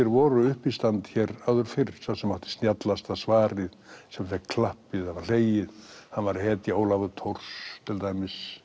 voru uppistand hér áður fyrr sá sem átti snjallasta svarið fékk klappið eða var hlegið hann var hetja Ólafur Thors til dæmis